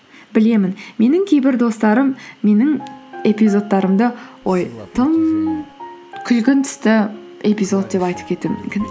білемін менің кейбір достарым менің эпизодтарымды тым күлгін түсті эпизод деп айтып кетуі мүмкін